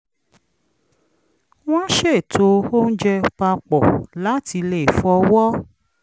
wọ́n ṣètò oúnjẹ pa pọ̀ láti lè fọwọ́